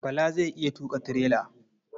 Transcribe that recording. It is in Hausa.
Bala zai iya tuƙa tirela.